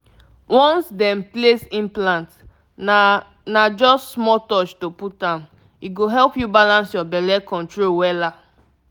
once dem place implant na na just small touch to put m— e go help you balance your belle control wela.